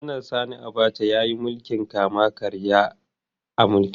Janar Sani Abacha ya yi mulkin kama-karya a mulkinsa.